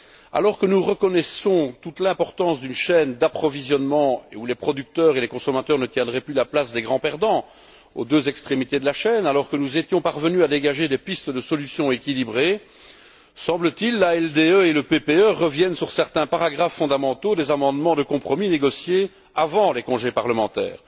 Alors que nous reconnaissons toute l'importance d'une chaîne d'approvisionnement où les producteurs et les consommateurs ne tiendraient plus la place des grands perdants, aux deux extrémités de la chaîne, et alors que nous étions parvenus à dégager des pistes de solution équilibrées, l'ALDE et le PPE reviennent, semble t il, sur certains paragraphes fondamentaux des amendements de compromis négociés avant les congés parlementaires.